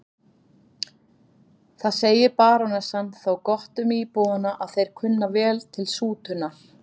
Það segir barónessan þó gott um íbúana að þeir kunna vel til sútunar.